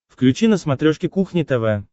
включи на смотрешке кухня тв